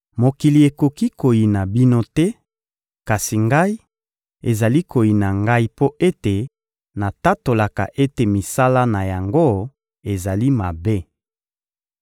Mokili ekoki koyina bino te; kasi Ngai, ezali koyina Ngai mpo ete natatolaka ete misala na yango ezali mabe.